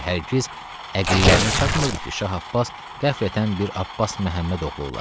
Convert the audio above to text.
Və hərgiz əqillərinə çatmırdı ki, Şah Abbas qəflətən bir Abbas Məhəmməd oğlu ola.